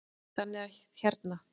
Þannig að hérna.